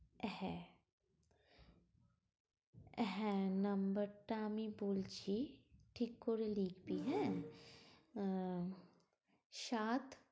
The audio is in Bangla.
হ্যাঁ, হ্যাঁ number টা আমি বলছি, ঠিক করে লিখবি হ্যাঁ? আহ সাত